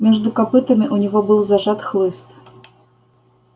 между копытами у него был зажат хлыст